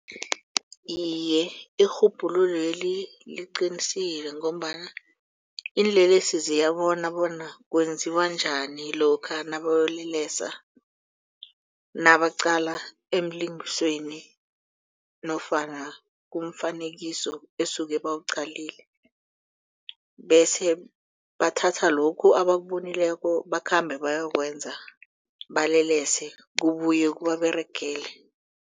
Iye, irhubhululweli liqinisile ngombana iinlelesi ziyabona bona kwenziwa njani lokha nabayokulelesa nabaqala emalingenisweni nofana kumfanekiso esuke bawuqalile bese bathatha lokhu abakubonileko bakhambe bayokwenza balelese kubuye kubababeregele.